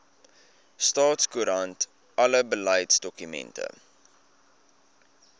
staatskoerant alle beleidsdokumente